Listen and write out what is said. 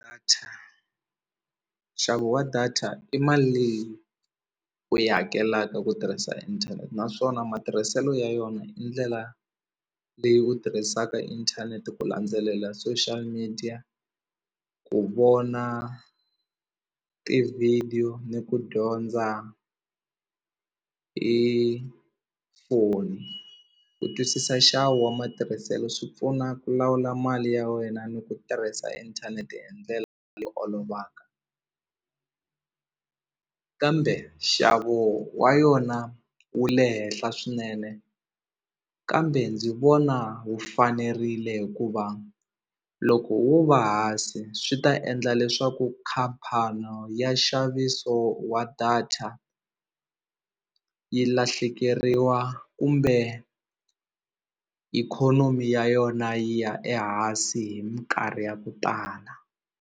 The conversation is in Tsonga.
nxavo wa data i mali leyi u yi hakelaka ku tirhisa inthanete naswona matirhiselo ya yona i ndlela leyi u tirhisaka inthanete ku landzelela social media ku vona tivhidiyo ni ku dyondza i foni ku twisisa nxavo wa matirhiselo swi pfuna ku lawula mali ya wena ni ku tirhisa inthanete hi ndlela olovaka kambe nxavo wa yona wu le henhla swinene kambe ndzi vona wu fanerile hikuva loko wo va hansi swi ta endla leswaku khampani ya nxaviso wa data yi lahlekeriwa kumbe ikhonomi ya yona yi ya ehansi hi minkarhi ya ku tala.